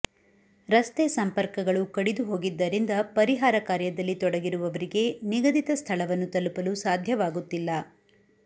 ರಸ್ತೆ ಸಂಪರ್ಕಗಳು ಕಡಿದುಹೋಗಿದ್ದರಿಂದ ಪರಿಹಾರ ಕಾಂುುರ್ದಲ್ಲಿ ತೊಡಗಿರುವವರಿಗೆ ನಿಗದಿತ ಸ್ಥಳವನ್ನು ತಲುಪಲು ಸಾಧ್ಯವಾಗುತ್ತಿಲ್ಲ